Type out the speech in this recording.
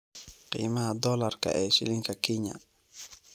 qiimaha dollarka ee shilinka Kenya